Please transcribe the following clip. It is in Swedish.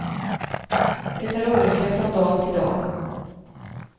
Det är olika från dag till dag.